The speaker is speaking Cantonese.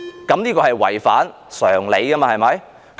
這是違反常理的，對嗎？